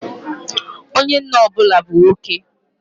Onye nna ọ bụla bu nwoke.